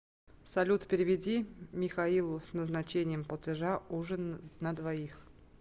салют переведи михаилу с назначением платежа ужин на двоих